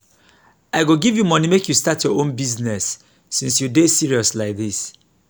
i go give you money make you start your own business since you dey serious like dis